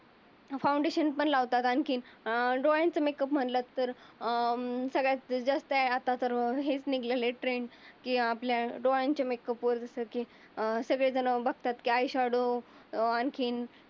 Foundation पण लावतात. अं आणखी डोळ्याचा मेकअप मनलं तर अं सगळ्यात जास्त आहे. आता तर हे निघल लेट्रेन आपल्या डोळ्यांच्या मेकअप वर जस की सगळे झण बघतात. की आयशाडो आणखी